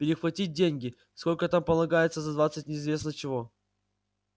перехватить деньги сколько там полагается за двадцать неизвестно чего